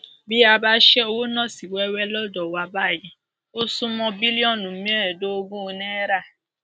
bí a bá ṣe owó náà sí wẹwẹ lọdọ wa báyìí ó sún mọ bílíọnù mẹẹẹdógún náírà